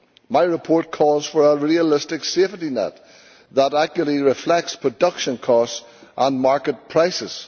My report calls for a realistic safety net that accurately reflects production costs and market prices.